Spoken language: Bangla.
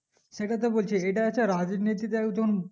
সেটাই তো বলছি ইটা হচ্ছে রাজনীতিতে একদম